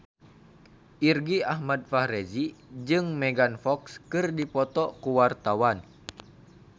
Irgi Ahmad Fahrezi jeung Megan Fox keur dipoto ku wartawan